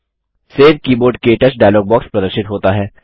save keyboard - क्टच dialog box प्रदर्शित होता है